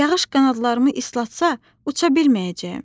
Yağış qanadlarımı islatsa, uça bilməyəcəyəm.